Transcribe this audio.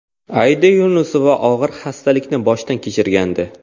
Aida Yunusova og‘ir xastalikni boshdan kechirgandi.